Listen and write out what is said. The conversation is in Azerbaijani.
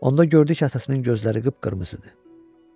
Onda gördü ki, atasının gözləri qıpqırmızı idi.